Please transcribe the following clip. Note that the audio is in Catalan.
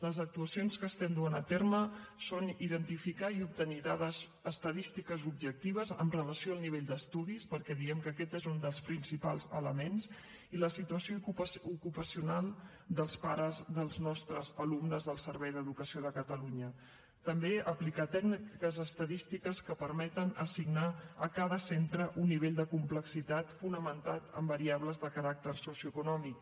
les actuacions que estem duent a terme són identificar i obtenir dades estadístiques objectives amb relació al nivell d’estudis perquè diem que aquest n’és un dels principals elements i la situació ocupacional dels pares dels nostres alumnes del servei d’educació de catalunya també aplicar tècniques estadístiques que permeten assignar a cada centre un nivell de complexitat fonamentat en variables de caràcter socioeconòmic